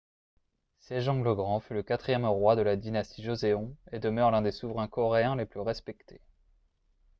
sejong le grand fut le quatrième roi de la dynastie joseon et demeure l'un des souverains coréens les plus respectés